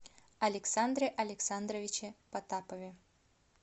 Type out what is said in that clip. александре александровиче потапове